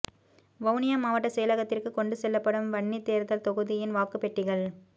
வவுனியா மாவட்ட செயலகத்திற்கு கொண்டு செல்லப்படும் வன்னி தேர்தல் தொகுதியின் வாக்குப் பெட்டிகள்